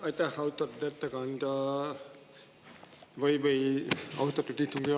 Aitäh, austatud istungi juhataja!